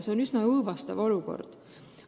See on üsna õõvastav olukord.